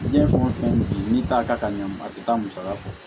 Diɲɛ fɛn o fɛn bɛ yen n'i t'a ka ɲama a tɛ taa musaka kɔ